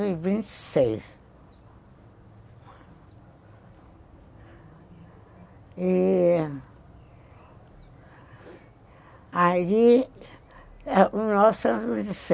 e vinte e E... e aí, em mil novecentos e vinte